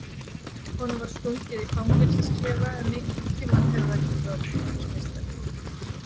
Honum var stungið í fangelsisklefa en einhvern tíma hefði hann getað orðið heimsmeistari.